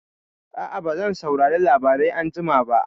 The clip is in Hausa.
A'a, bazan saurari labarai anjima ba.